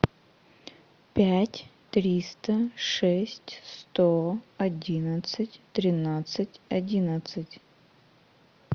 пять триста шесть сто одиннадцать тринадцать одиннадцать